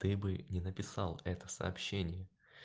ты бы не написал это сообщение